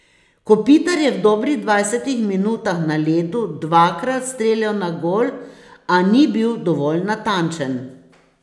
Kopitar je v dobrih dvajsetih minutah na ledu dvakrat streljal na gol, a ni bil dovolj natančen.